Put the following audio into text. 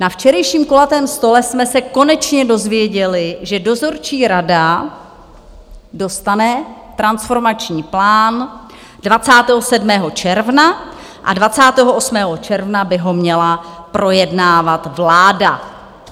Na včerejším kulatém stolu jsme se konečně dozvěděli, že dozorčí rada dostane transformační plán 27. června a 28. června by ho měla projednávat vláda.